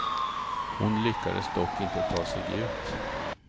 Hon lyckades dock inte ta sig ut.